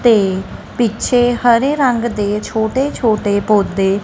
ਤੇ ਪਿੱਛੇ ਹਰੇ ਰੰਗ ਦੇ ਛੋਟੇ ਛੋਟੇ ਪੌਦੇ--